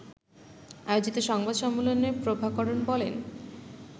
আয়োজিত সংবাদ সম্মেলনে প্রভাকরণ বলেন